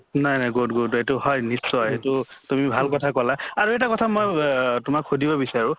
নাই নাই good good এইটো হয় নিশ্চয় এইটো তুমি ভাল কথা কলা, আৰু এটা কথা মই ৱ সুধিব বিচাৰোঁ